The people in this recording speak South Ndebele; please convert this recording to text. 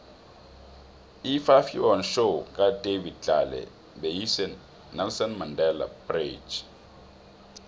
ifafhion show kadavid tlale beyise nelson mandele bridge